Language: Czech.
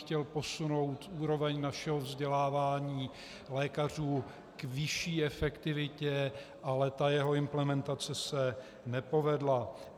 Chtěl posunout úroveň našeho vzdělávání lékařů k vyšší efektivitě, ale ta jeho implementace se nepovedla.